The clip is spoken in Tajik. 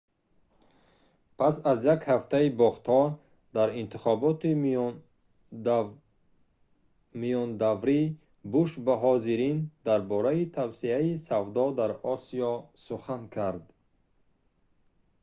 пас аз як ҳафтаи бохтҳо дар интихоботи миёнадаврӣ буш ба ҳозирин дар бораи тавсеаи савдо дар осиё сухан кард